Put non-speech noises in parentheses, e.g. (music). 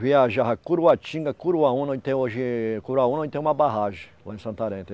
Viajava Curuatinga, Curuá-Una, onde tem hoje... Curuá-Una, onde tem uma barragem, lá em Santarém. (unintelligible)